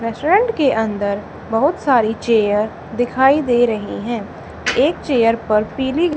restaurant के अंदर बहुत सारी चेयर दिखाई दे रही हैं एक चेयर पर पीली--